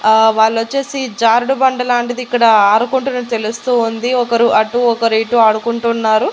ఆ వాళ్లొచ్చేసి జారుడు బండ లాంటిది ఇక్కడ ఆరుకుంటున్న తెలుస్తూ ఉంది ఒకరు అటు ఒకరు ఇటు ఆడుకుంటున్నారు.